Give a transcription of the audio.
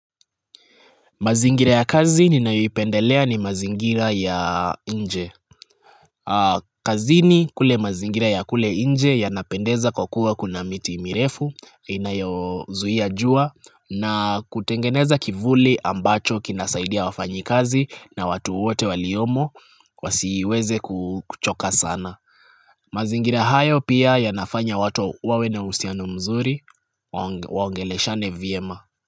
Mazingira ya kazi ninayoipendelea ni mazingira ya nje. Kazini kule mazingira ya kule nje yanapendeza kwa kuwa kuna miti mirefu inayozuia jua na kutengeneza kivuli ambacho kinasaidia wafanyi kazi na watu wote waliomo wasiweze kuchoka sana. Mazingira hayo pia yanafanya watu wawe na usianu mzuri waangele shane VMA.